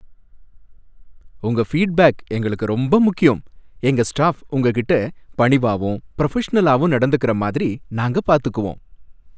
உங்க ஃபீட்பேக் எங்களுக்கு ரொம்ப முக்கியம், எங்க ஸ்டாஃப் உங்ககிட்ட பணிவாவும் புரொஃபஷனலாவும் நடந்துக்குற மாதிரி நாங்க பாத்துக்குவோம்.